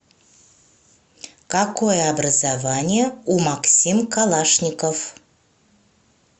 какое образование у максим калашников